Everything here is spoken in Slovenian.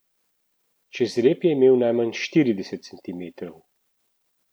Čez rep je imel najmanj štirideset centimetrov.